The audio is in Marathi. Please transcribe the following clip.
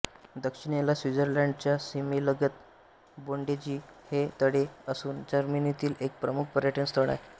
दक्षिणेला स्वित्झर्लंडच्या सीमेलगत बोडेन्जी हे तळे असून जर्मनीतील एक प्रमुख पर्यटन स्थळ आहे